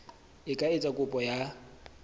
e ka etsa kopo ya